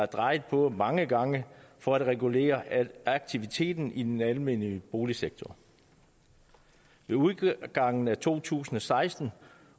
drejet på mange gange for at regulere aktiviteten i den almennyttige boligsektor ved udgangen af to tusind og seksten